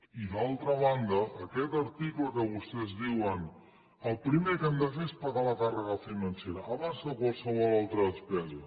i d’altra banda aquest article que vostès diuen el primer que hem de fer és pagar la càrrega financera abans que qualsevol altra despesa